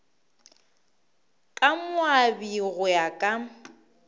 ka moabi go ya ka